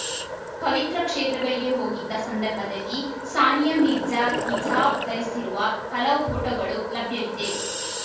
ಪವಿತ್ರ ಕ್ಷೇತ್ರಗಳಿಗೆ ಹೋಗಿದ್ದ ಸಂದರ್ಭದಲ್ಲಿ ಸಾನಿಯಾ ಮಿರ್ಜಾ ಹಿಜಾಬ್‌ ಧರಿಸಿರುವ ಹಲವು ಫೋಟೋಗಳು ಲಭ್ಯವಿದೆ